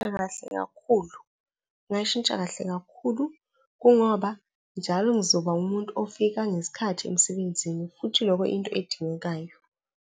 Kahle kakhulu, kungayishintsha kahle kakhulu. Kungoba njalo ngizoba umuntu ofika ngesikhathi emsebenzini, futhi lokho into edingekayo.